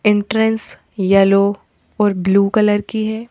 Entrance yellow और blue colour की है।